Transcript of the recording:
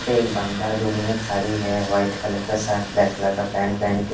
यहाँ पे एक बंदा दूर में खड़ी है व्हाइट कलर का शर्ट ब्लैक कलर का पैंट पहन के--